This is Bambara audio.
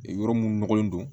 Yɔrɔ mun nɔgɔlen don